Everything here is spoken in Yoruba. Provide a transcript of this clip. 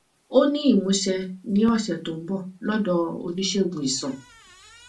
ó ní ìmúṣẹ ní ọsẹ tó ń bọ lọdọ oníṣègùn iṣan